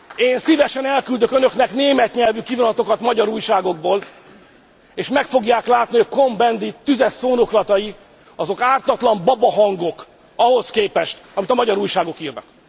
Én szívesen elküldök önöknek német nyelvű kivonatokat magyar újságokból, és meg fogják látni, hogy Cohn Bendit tüzes szónoklatai, azok ártatlan babahangok ahhoz képest, amit a magyar újságok írnak.